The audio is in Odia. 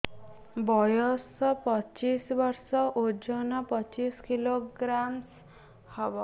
ବୟସ ପଚିଶ ବର୍ଷ ଓଜନ ପଚିଶ କିଲୋଗ୍ରାମସ ହବ